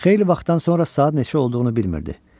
Xeyli vaxtdan sonra saat neçə olduğunu bilmirdi.